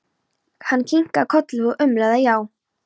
Hann kinkaði kolli og umlaði já.